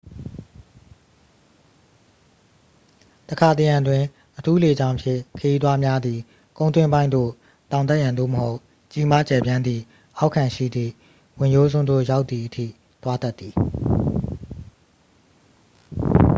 တစ်ခါတစ်ရံတွင် အထူးလေကြောင်းဖြင့် ခရီးသွားများသည် ကုန်းတွင်းပိုင်းသို့ တောင်တက်ရန် သို့မဟုတ် ကြီးမားကျယ်ပြန်သည့်အောက်ခံရှိသည့် ဝင်ရိုးစွန်းသို့ ရောက်သည်အထိ သွားတတ်သည်